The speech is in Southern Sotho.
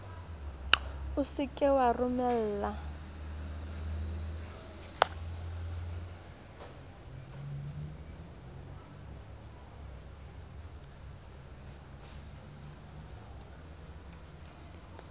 o se ke wa romella